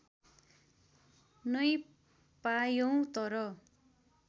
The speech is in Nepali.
नै पायौँ तर